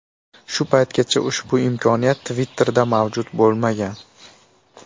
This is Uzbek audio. Shu paytgacha ushbu imkoniyat Twitter’da mavjud bo‘lmagan.